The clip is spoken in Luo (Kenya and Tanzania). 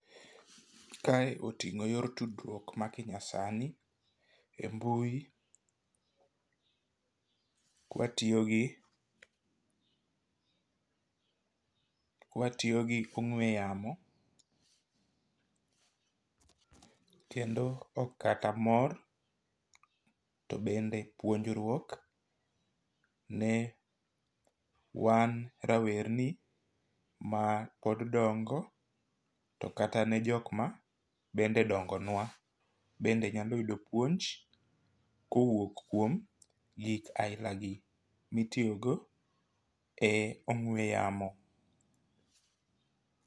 Kae oting'o yor tudruok ma kinya sani e mbui kwatiyo gi kwatiyo gi ong'we yamo . Kendo ok kata mor to bende puonjruok ne wan rawerni ma pod dongo to kata ne jok ma bende dongo nwa bende nyalo yudo puonj kowuok kuom gik aila gi mitiyo go e ong'we yamo.